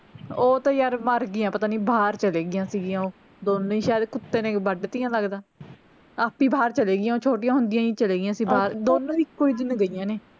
ਓਹ ਤਾਂ ਯਾਰ ਮਰ ਗਈਆਂ ਪਤਾ ਨੀ ਬਾਹਰ ਚਲੀ ਗਈਆਂ ਸਿਗੀਆਂ ਓਹੋ ਦੋਨੋ ਹੀ ਸ਼ਾਇਦ ਕੁੱਤੇ ਨੇ ਵੱਡ ਤੀਆਂ ਲਗਦਾ ਆਪੇ ਹੀ ਬਾਹਰ ਚਲੇ ਗਈਆਂ ਓਹ ਛੋਟੀਆਂ ਹੁੰਦੀਆਂ ਹੀ ਚਲੀ ਗਈਆਂ ਸੀ ਬਾਹਰ ਦੋਨੋ ਇੱਕੋ ਜਿਹੀ ਨੂੰ ਗਈਆਂ ਨੇ